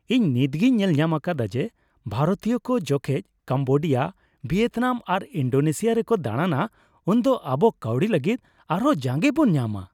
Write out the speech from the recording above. ᱤᱧ ᱱᱤᱛᱜᱤᱧ ᱧᱮᱞᱧᱟᱢ ᱟᱠᱟᱫᱟ ᱡᱮ, ᱵᱷᱟᱨᱚᱛᱤᱭᱟᱹ ᱠᱚ ᱡᱚᱠᱷᱚᱡ ᱠᱚᱢᱵᱳᱰᱤᱭᱟ, ᱵᱷᱤᱭᱮᱛᱱᱟᱢ ᱥᱮ ᱤᱱᱰᱳᱱᱮᱥᱤᱭᱟ ᱨᱮᱠᱚ ᱫᱟᱬᱟᱱᱟ ᱩᱱᱫᱚ ᱟᱵᱚ ᱠᱟᱹᱣᱰᱤ ᱞᱟᱹᱜᱤᱫ ᱟᱨ ᱦᱚᱸ ᱡᱟᱸᱜᱮ ᱵᱚᱱ ᱧᱟᱢᱟ ᱾